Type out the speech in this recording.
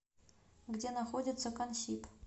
где находится консиб